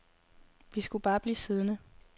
Vi skulle bare blive siddende.